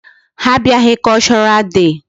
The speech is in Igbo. Ha abịaghị cultural day.